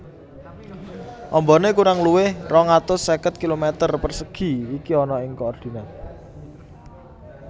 Ambane kurang luwih rong atus seket kilometer persegi iki ana ing koordinat